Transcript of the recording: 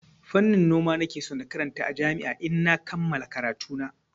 Fannin noma nake so na karanta a jami'a idan na kammala karatuna.